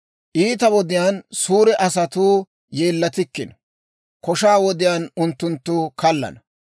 Iita wodiyaan suure asatuu yeellatikkino; koshaa wodiyaan unttunttu kallana.